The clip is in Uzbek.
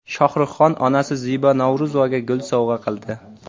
Shohrux Xon onasi Zebo Navro‘zovaga gul sovg‘a qildi.